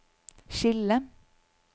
skille